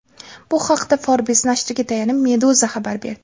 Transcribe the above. Bu haqda Forbes nashriga tayanib Meduza xabar berdi.